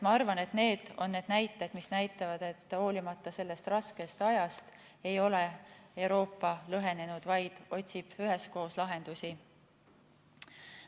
Ma arvan, et need on need näitajad, mis näitavad, et hoolimata sellest raskest ajast ei ole Euroopa lõhenenud, vaid otsib üheskoos lahendusi.